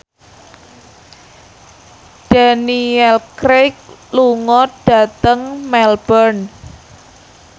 Daniel Craig lunga dhateng Melbourne